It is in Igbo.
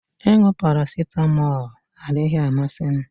Ịṅụ paracetamol adịghị amasị m